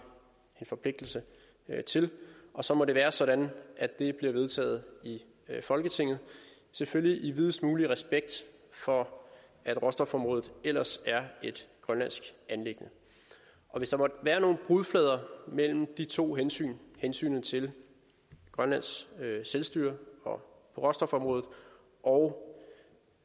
en forpligtelse til og så må det være sådan at det bliver vedtaget i folketinget selvfølgelig i videst mulig respekt for at råstofområdet ellers er et grønlandsk anliggende hvis der måtte være nogle brudflader mellem de to hensyn hensynet til grønlands selvstyre og råstofområdet og